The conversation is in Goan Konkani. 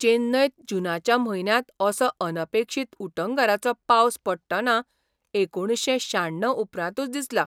चेन्नयंत जूनाच्या म्हयन्यांत असो अनपेक्षीत उटंगारांचो पावस पडटना एकुणशे शाण्णव उपरांतूच दिसला.